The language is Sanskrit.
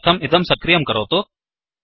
तदर्थं इदं सक्रियं करोतु